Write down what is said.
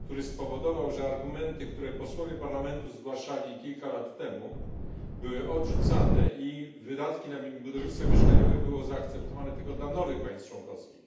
który spowodował, że argumenty, które posłowie Parlamentu zgłaszali kilka lata temu, były odrzucane i wydatki na budownictwo mieszkaniowe były zaakceptowane tylko dla nowych państw członkowskich,